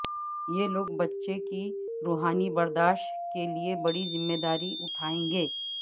یہ لوگ بچہ کی روحانی برداشت کے لئے بڑی ذمہ داری اٹھائیں گے